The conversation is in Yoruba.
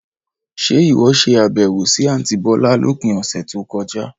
Ṣe ìwọ ṣe àbẹ̀wò sì àntí bọ̀lá lópin ọ̀sẹ̀ tó kọjá?